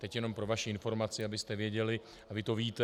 Teď jenom pro vaši informaci, abyste věděli, a vy to víte.